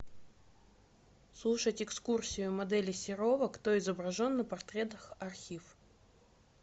слушать экскурсию модели серова кто изображен на портретах архив